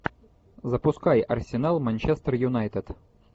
запускай арсенал манчестер юнайтед